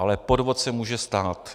Ale chyba se může stát.